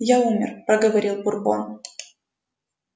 я умер проговорил бурбон